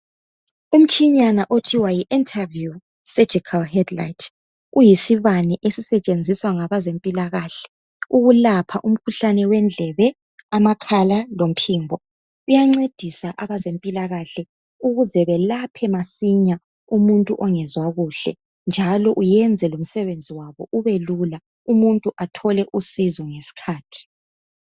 Umtshinyana okuthiwa yi interview surgical headlight uyisibane esisetshenziswa ngabezempilakahle ukulapha umkhuhlane wendlebe, amakhala lomphimbo uyancedisa abezempilakahle ukuze belaphe masinya umuntu ongezwa kuhle njalo uyenza lomsebenzi wabo ubelula umuntu athole usizo ngesikhathi.